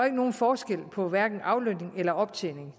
ikke nogen forskel på hverken aflønning eller optjening